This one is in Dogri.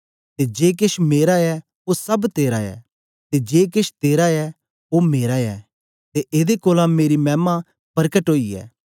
ते जे केछ मेरा ऐ ओ सब तेरा ऐ ते जे केछ तेरा ऐ ओ मेरा ऐ ते एदे कोलां मेरी मैमा परकट ओई ऐ